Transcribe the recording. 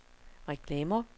reklamer